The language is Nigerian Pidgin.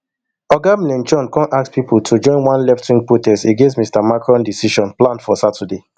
oga mlenchon come ask pipo to join one leftwing protest against mr macron decision planned for saturday